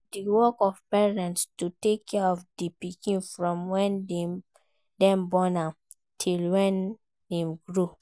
Na di work of parents to take care of di pikin from when dem born am till when im grow